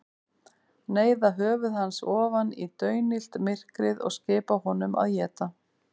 Neyða höfuð hans ofan í daunillt myrkrið og skipa honum að éta.